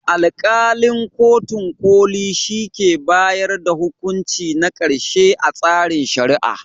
Alƙalin kotun ƙoli shi ke bayar da hukunci na ƙarshe a tsarin Shari'a.